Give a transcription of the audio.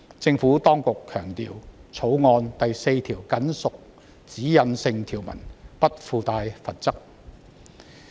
政府當局強調，《條例草案》第4條僅屬指引性條文，不附帶罰則。